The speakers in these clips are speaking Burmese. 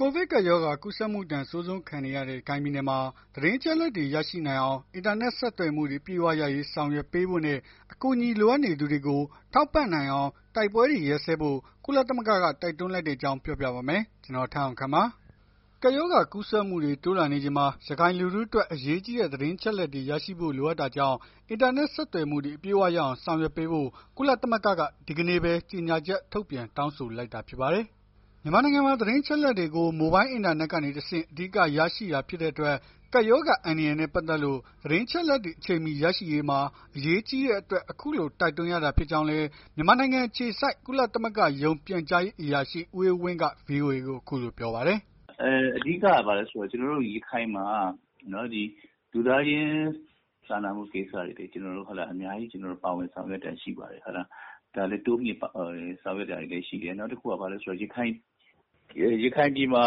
ကိုဗစ်ကပ်ရောဂါ ကူးစက်မှုဒဏ် အဆိုးဆုံးခံနေရတဲ့ ရခိုင်ပြည်နယ်မှာ သတင်းအချက်အလက်တွေ ရရှိနိုင်အောင် အင်တာနက် ဆက်သွယ်မှုတွေ အပြည့်အဝရရေး ဆောင်ရွက်ပေးဖို့နဲ့ အကူအညီလိုအပ်နေသူတွေကို ထောက်ပံ့နိုင်အောင် တိုက်ပွဲတွေ ရပ်စဲဖို့ ကုလသမဂ္ဂက တိုက်တွန်းလိုက်တဲ့အကြောင်းကို ဗွီအိုအေမြန်မာပိုင်းသတင်းထောက် ကိုထက်အောင်ခန့်က ပြောပြပေးပါမယ်။ ကပ်ရောဂါကူးစက်မှုတွေ တိုးလာနေချိန်မှာ ရခိုင်လူထုအတွက် အရေးကြီးတဲ့ သတင်းအချက်အလက်တွေရရှိဖို့ လိုအပ်တာကြောင့် အင်တာနက် ဆက်သွယ်မှုတွေ အပြည့်အဝရအောင် ဆောင်ရွက်ပေးဖို့ ကုလသမဂ္ဂက ဒီကနေ့ပဲ ကြေညာချက် ထုတ်ပြန် တောင်းဆိုလိုက်တာ ဖြစ်ပါတယ်။ မြန်မာနိုင်ငံမှာ သတင်းအချက်အလက်တွေကို မိုဘိုင်းအင်တာနက်ကနေ တဆင့် အဓိက ရရှိတာ ဖြစ်တဲ့အတွက် ကပ်ရောဂါ အန္တရာယ်နဲ့ ပတ်သက်လို့ သတင်းအချက်အလက်တွေ အချိန်မှီရရှိရေးမှာ အရေးကြီးတဲ့အတွက် အခုလို တိုက်တွန်းရတာ ဖြစ်ကြောင်းလည်း မြန်မာနိုင်ငံ အခြေစိုက် ကုလသမဂ္ဂရုံး ပြန်ကြားရေးအရာရှိ ဦးအေးဝင်းက ဗွီအိုအေကို အခုလိုပြောပါတယ်။ “အဓိကက ဘာလည်းဆိုတော့ ကျနော်တို့ ရခိုင်မှာ လူသားချင်းစာနာမှုဆိုင်ရာတွေ ကျနော်တို့ အများကြီး ပါဝင်ဆောင်ရွက်တာရှိတယ်။ ဒါလည်းတိုးမြှင့်ဆောင်ရွက်တာတွေလည်းရှိတယ်။ နောက်တခုက ရခိုင်ပြည်မှာ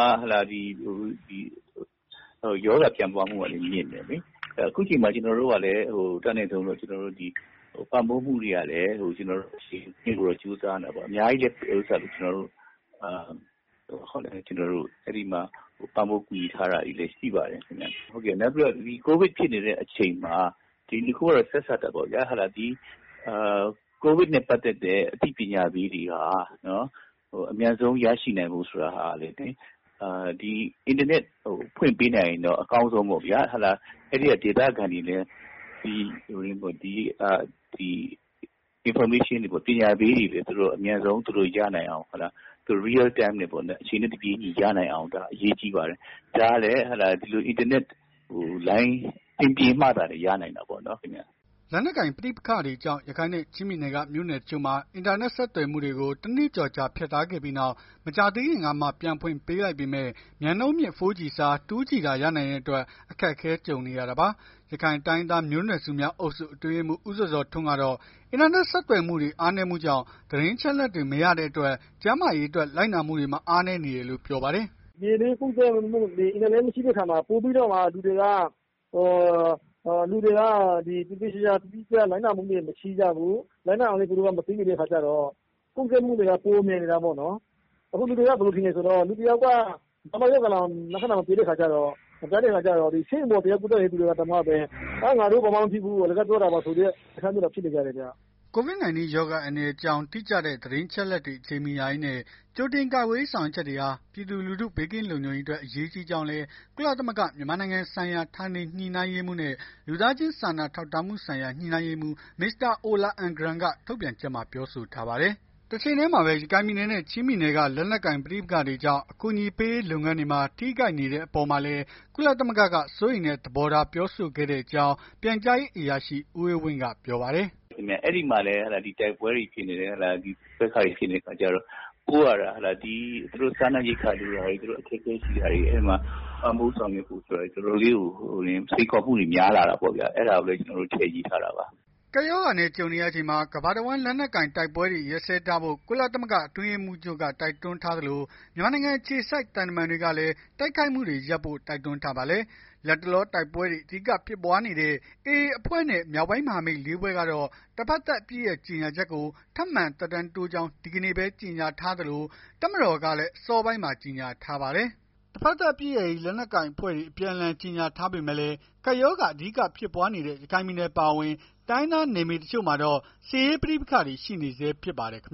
ရောဂါပြန့်ပွားမှုကလည်း မြင့်တယ်လေ။ အခုချိန်မှာ ကျနော်တို့က အတတ်နိုင်ဆုံး ပံ့ပိုးမှုတွေလုပ်ဖို့ ကြိုးစားနေတာပေါ့။ အများကြီးလည်း ပံ့ပိုးကူညီထားတာတွေလည်း ရှိပါတယ်။ နောက်ပြီးတော့ ကိုဗစ်ဖြစ်နေတဲ့ အချိန်မှာ ကိုဗစ်နဲ့ ပတ်သက်တဲ့ အသိပညာပေးတွေဟာ အမြန်ဆုံး ရရှိနိုင်ဖို့ဆိုတာကလည်း အင်တာနက် ဖွင့်ပေး နိုင်ရင်တော့ အကောင်းဆုံးပေါ့ဗျာ။ အဲ့ဒီကဒေသခံတွေလည်း Information တွေ ပညာပေးတွေ သူတို့အမြန်ဆုံး အချိန်နဲ့ တပြေးညီရနိုင်အောင် အရေးကြီးပါတယ်။ ဒါကလည်း အင်တာနက်လိုင်း အဆင်ပြေမှသာလျှင် ရနိုင်တာပေါ့နော်။” လက်နက်ကိုင် ပဋိပက္ခတွေကြောင့် ရခိုင်နဲ့ ချင်းပြည်နယ်က မြို့နယ်တချို့မှာ အင်တာနက် ဆက်သွယ်မှုတွေကို တနှစ်ကျော်ကြာ ဖြတ်ထားခဲ့ပြီးနောက် မကြာသေးခင်ကမှ ပြန်ဖွင့်ပေးလိုက်ပေမဲ့ မြန်နှုန်းမြင့် 4G အစား 2G သာ ရနိုင်တဲ့အတွက် အခက်အခဲ ကြုံနေရတာပါ။ ရခိုင်တိုင်းရင်းသား မျိုးနွယ်စုများအုပ်စု အတွင်းရေးမှူး ဦးဇော်ဇော်ထွန်း ကတော့ အင်တာနက် ဆက်သွယ်မှုတွေ အားနည်းမှုကြောင့် သတင်းအချက်အလက်တွေ မရတဲ့အတွက် ကျန်းမာရေးအတွက် လိုက်နာမှုတွေမှာ အားနည်းနေတယ်လို့ ပြောပါတယ်။ “ပြည်တွင်းကူးစက်မှုက အင်တာနက်မရှိတဲ့အခါမှာ ပိုပြီးတော့ လူတွေက သေသေချာချာ တိတိကျကျလိုက်နာမှုတွေ မရှိကြဘူး။ လိုက်နာရအောင်လည်း သူတို့က မသိနေတဲ့အခါကျတော့ ကူးစက်မှုတွေက ပိုမြန်နေတာပေါ့။ အခုလူတွေက ဘယ်လိုထင်လည်းဆိုတော့ လူတယောက်က လက္ခဏာ မပြတဲ့အခါကျတော့ ဆေးရုံတက်နေတဲ့ လူတွေတောင်မှလည်း ငါတို့ဘာမှမဖြစ်ဘူး အလကားပြောနေကြတာပါဆိုတဲ့ အနေအထားမျိုးတွေဖြစ်နေ တယ်။” COVID-19 ရောဂါ အန္တရာယ်အကြောင်း တိကျတဲ့ အချက်အလက်တွေ အချိန်မီရရေးနဲ့ ကြိုတင်ကာကွယ်ရေး ဆောင်ရွက်ချက်တွေဟာ ပြည်သူလူထု ဘေးကင်းလုံခြုံရေးအတွက် အရေးကြီးကြောင်းလည်း ကုလသမဂ္ဂ မြန်မာနိုင်ငံဆိုင်ရာ ဌာနေညှိနှိုင်းရေးမှူးနဲ့ လူသားချင်းစာနာထောက်ထားမှုဆိုင်ရာ ညှိနှိုင်းရေးမှူး Mr. Ola Almgren က ထုတ်ပြန်ချက်မှာ ပြောဆိုထားပါတယ်။ တချိန်တည်းမှာပဲ ရခိုင်ပြည်နယ်နဲ့ ချင်းပြည်နယ်တွေက လက်နက်ကိုင် ပဋိပက္ခတွေကြောင့် အကူအညီပေးရေး လုပ်ငန်းတွေမှာ ထိခိုက်နေတဲ့အပေါ်မှာလည်း ကုလသမဂ္ဂက စိုးရိမ်တဲ့ သဘောထား ပြောဆိုခဲ့တဲ့အကြောင်း ပြန်ကြားရေးအရာရှိ ဦးအေးဝင်းက ပြောပါတယ်။ “အဲ့ဒီမှာလည်း တိုက်ပွဲဖြစ်နေတဲ့အခါကျတော့ ဒီကိစ္စတွေ ဖြစ်နေတဲ့အခါကျတော့ ပို့ရတဲ့အခါ စားနပ်ရိက္ခာတွေ သူတို့အခက်အခဲရှိတာတွေ ပံ့ပိုးဆောင်ရွက်ဖို့အတွက် စိမ်ခေါ်မှုတွေ တော်တော်လေးကို များလာတာပေါ့ဗျာ။ အဲ့ဒါပဲ ကျနော်တို့ ထည့်ရေးထားတာပါ။” ကပ်ရောဂါနဲ့ ကြုံနေရချိန်မှာ ကမ္ဘာတဝန်း လက်နက်ကိုင်တိုက်ပွဲတွေရပ်စဲထားဖို့ ကုလသမဂ္ဂ အတွင်းရေးမှူးချုပ်က တိုက်တွန်းထားသလို မြန်မာနိုင်ငံ အခြေစိုက် သံတမန်တွေကလည်း တိုက်ခိုက်မှုတွေရပ်ဖို့ တိုက်တွန်းထားပါတယ်။ လတ်တလော တိုက်ပွဲတွေ အဓိကဖြစ်နေတဲ့ AA အဖွဲ့နဲ့ မြောက်ပိုင်းမဟာမိတ် ၄ ဖွဲ့ကတော့ တဘက်သတ်အပစ်ရပ်ကြေညာချက်ကို ထပ်မံသက်တမ်းတိုးကြောင်း ဒီကနေ့ပဲ ကြေညာထားသလို တပ်မတော်ကလည်း အစောပိုင်းမှာ ကြေညာထားပါတယ်။ တဘက်သတ်အပစ်ရပ်ရေး လက်နက်ကိုင် အဖွဲ့တွေ အပြန်အလှန် ကြေညာထားပေမဲ့လည်း ကပ်ရောဂါ အဓိကဖြစ်ပွားနေတဲ့ ရခိုင်ပြည်နယ်အပါအဝင် တိုင်းရင်းသား နယ်မြေတချို့မှာတော့ စစ်ရေးပဋိပက္ခတွေ ရှိနေဆဲဖြစ်ပါတယ်ခင်